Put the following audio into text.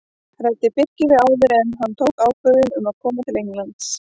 Ræddi Birkir við þá áður en hann tók ákvörðun um að koma til Englands?